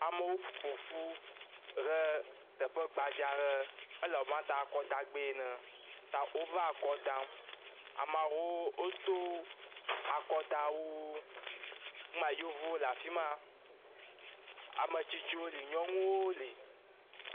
Amewo ƒo ƒu ɖe teƒe gbadzaa aɖe. Ele abe na ta akɔdagbe ene. Ta wova kɔ dam. Amaawo wodo akɔdawuwo. Ŋu ma, Yevowo le afi ma, ame tsitsiwo le, nyɔnuwo le.